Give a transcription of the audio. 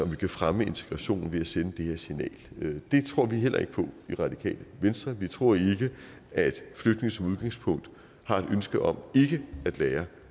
vi kan fremme integrationen ved at sende det her signal det tror vi heller ikke på i det radikale venstre vi tror ikke at flygtninge som udgangspunkt har et ønske om ikke at lære